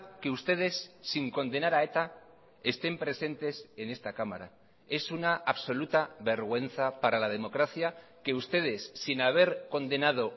que ustedes sin condenar a eta estén presentes en esta cámara es una absoluta vergüenza para la democracia que ustedes sin haber condenado